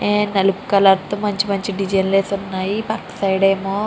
నలుపు కలర్ తో మంచి మంచి దేస్గిన్స్ లు వేసి ఉన్నాయి. పక్కన సైడ్ ఏమో --